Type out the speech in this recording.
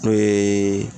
N'o ye